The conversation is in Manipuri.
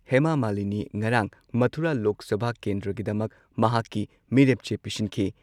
ꯍꯦꯃꯥ ꯃꯥꯂꯤꯅꯤ ꯉꯔꯥꯡ ꯃꯊꯨꯔꯥ ꯂꯣꯛ ꯁꯚꯥ ꯀꯦꯟꯗ꯭ꯔꯒꯤꯗꯃꯛ ꯃꯍꯥꯛꯀꯤ ꯃꯤꯔꯦꯞ ꯆꯦ ꯄꯤꯁꯤꯟꯈꯤ ꯫